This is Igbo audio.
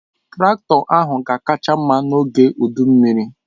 Traktọ ahụ ga-akacha mma n'oge udu mmiri.